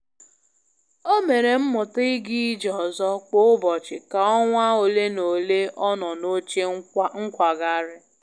O mere mmuta i ga ije ọzọ kwa ụbọchị ka ọnwa ole na ole ọ nọ n'oche nkwagharị.